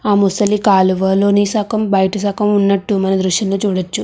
ఆ ముసలి కాలువలోని సగం బయట సగం ఉన్నట్టు మనము ఈ దృశ్యం చూడొచ్చు.